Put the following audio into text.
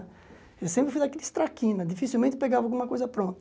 Eu sempre fui daqueles traquina, dificilmente pegava alguma coisa pronta.